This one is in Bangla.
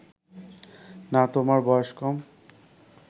না তোমার বয়স কম